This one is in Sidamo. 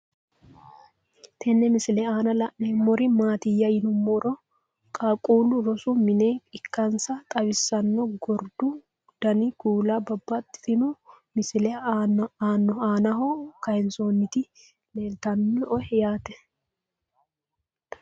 Tenne misile aanna la'neemmori maattiya yinummoro qaaqqullu rosu minne ikkassi xawissanno. Gordu danni kuulla, babaxxittinno misile aannaho kayiinsoonnitti leelittanno yaatte